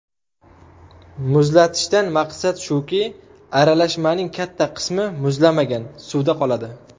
Muzlatishdan maqsad shuki, aralashmaning katta qismi muzlamagan suvda qoladi.